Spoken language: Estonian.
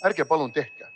Ärge palun tehke!